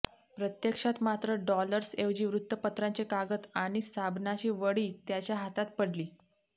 प्रत्यक्षात मात्र डॉलर्स ऐवजी वृत्तपत्रांचे कागद आणि साबणाची वडी त्याचा हातात पडली